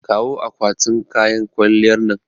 Kawo akwatin kayan kwalliyar nan.